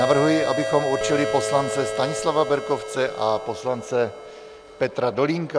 Navrhuji, abychom určili poslance Stanislava Berkovce a poslance Petra Dolínka.